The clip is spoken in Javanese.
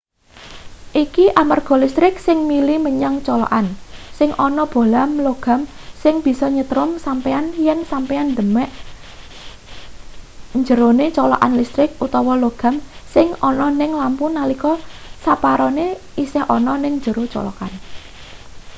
iki amarga listrik sing mili menyang colokan sing ana bohlam logam sing bisa nyetrum sampeyan yen sampeyan demek njerone colokan listrik utawa logam sing ana ning lampu nalika separone isih ana ning njero colokan